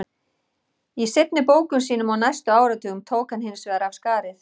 Í seinni bókum sínum á næstu áratugum tók hann hins vegar af skarið.